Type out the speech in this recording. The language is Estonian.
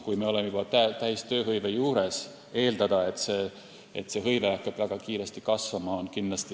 Kui me oleme juba täistööhõive juures, siis ei saa eeldada, et see hõive hakkab väga kiiresti kasvama.